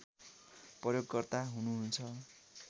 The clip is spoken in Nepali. प्रयोगकर्ता हुनुहुन्छ